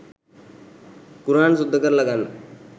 කුරහන් සුද්ද කරල ගන්න